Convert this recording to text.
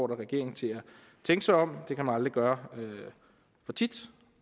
regeringen til at tænke sig om det kan man aldrig gøre for tit